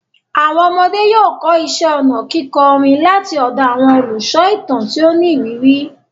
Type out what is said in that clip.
Àwọn ọmọdé yóò kọ́ iṣẹ́ ọnà kíkọ orin láti ọ̀dọ̀ àwọn olùsọ ìtàn tí ó ní ìrírí.